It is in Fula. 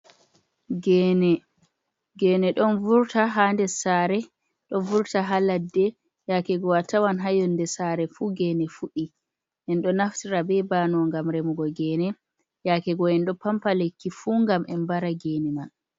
Gene, gene ɗon vurta haa nder saare, ɗon vurta haa ladde yaake go atawan haa yonde saare fu gene fuɗi. En ɗo naftira be bano ngam remugo gene, yaake go en ɗo pampa lekki fu ngam en mbara gene man.